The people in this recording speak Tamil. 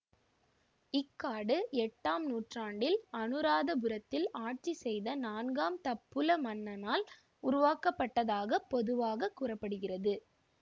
இக்காடு எட்டாம் நூற்றாண்டில் அனுராதபுரத்தில் ஆட்சி செய்த நான்காம் தப்புல மன்னனால் உருவாக்கப்பட்டதாகப் பொதுவாக கூற படுகிறது